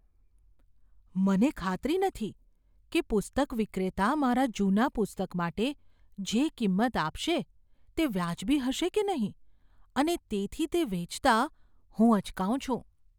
મને ખાતરી નથી કે પુસ્તક વિક્રેતા મારા જૂના પુસ્તક માટે જે કિંમત આપશે તે વાજબી હશે કે નહીં અને તેથી તે વેચતા હું અચકાઉં છું.